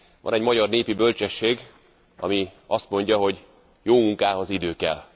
Van egy magyar népi bölcsesség, ami azt mondja, hogy jó munkához idő kell.